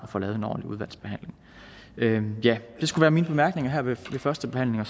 at få lavet en ordentlig udvalgsbehandling det skal være mine bemærkninger her ved førstebehandlingen